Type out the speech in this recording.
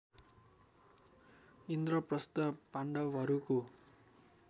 इन्द्रप्रस्थ पाण्डवहरूको